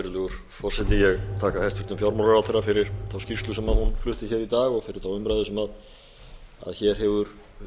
virðulegur forseti ég þakka hæstvirtum fjármálaráðherra fyrir þá skýrslu sem hún flutti hér í dag og fyrir þá umræðu sem hér hefur